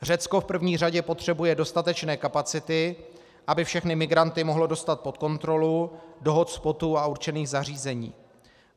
Řecko v první řadě potřebuje dostatečné kapacity, aby všechny migranty mohlo dostat pod kontrolu, do hotspotů a určených zařízení.